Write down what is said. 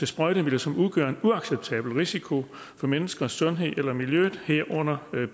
sprøjtemidler som udgør en uacceptabel risiko for menneskers sundhed eller miljøet herunder